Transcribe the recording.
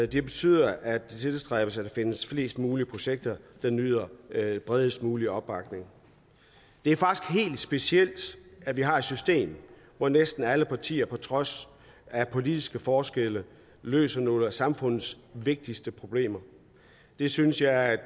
det betyder at det tilstræbes at der findes flest muligt projekter der nyder bredest mulig opbakning det er faktisk helt specielt at vi har et system hvor næsten alle partier på trods af politiske forskelle løser nogle af samfundets vigtigste problemer det synes jeg